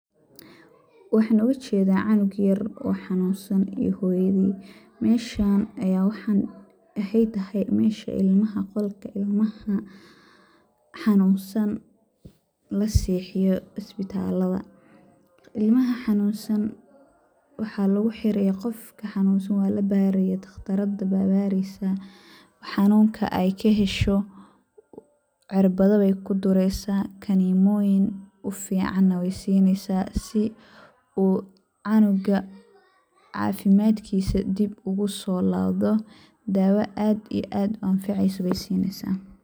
Waxaan oga jedaa canug yar oo xanuunsan iyo hoyadii, meshaan ayaan waxaan, ayaa waxey tahay mesha ilmaha ,qolka ilamaha xanunsan la sexiyo isbitallada . Ilmaha xanunsan waxa lagu xiri ,qofki xanunsan waa la baari ,dhakhtardaa baa bareysaa ,xanuunka ay ka hesho cirbada bey ku dureysaa ,kanimoyin u fiican na wey sineysaa si uu u canuiga cafimadkiisa dib ugusoo lawdo ,daawo aad iyo aad anfaceyso bey sineysaa.